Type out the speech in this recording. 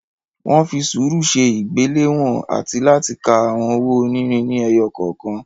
Wọ́n fi sùúrù ṣe ìgbéléwọ̀n àti láti ka àwọn owó onírin ni ẹyọ kọ̀ọ̀kan.